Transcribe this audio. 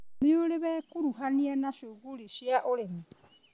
Nĩũrĩ wekuruhania na cuguri cia ũrĩmi.